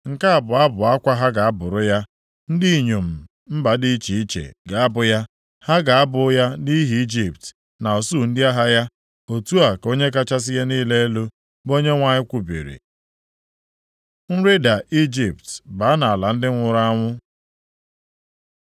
“Nke a bụ abụ akwa ha ga-abụrụ ya. Ndị inyom mba dị iche iche ga-abụ ya. Ha ga-abụ ya nʼihi Ijipt na usuu ndị agha ya, otu a ka Onye kachasị ihe niile elu, bụ Onyenwe anyị kwubiri.” Nrịda Ijipt baa nʼala ndị nwụrụ anwụ